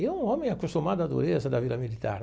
E um homem acostumado à dureza da vida militar.